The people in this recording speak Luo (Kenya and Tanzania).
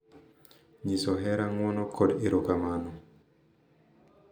Nyiso hera, ng’wono, kod erokamano